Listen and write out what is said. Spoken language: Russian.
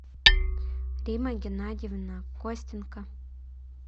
римма геннадьевна костенко